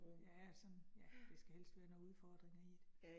Ja sådan. Ja, det skal helst være noget udfordringer i det